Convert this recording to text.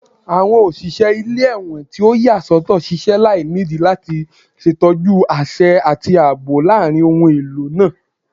Awọn oṣiṣẹ ile-ẹwọn ti o yasọtọ ṣiṣẹ lainidi lati ṣetọju aṣẹ ati aabo laarin ohun elo naa